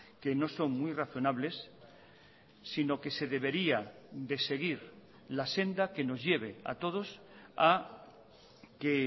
que no son muy razonables sino que se debería de seguir la senda que nos lleve a todos a que